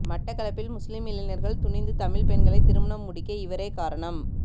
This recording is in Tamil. மட்டக்களப்பில் முஸ்லிம் இளைஞர்கள் துணிந்து தமிழ் பெண்களை திருமணம் முடிக்க இவரே காரணம்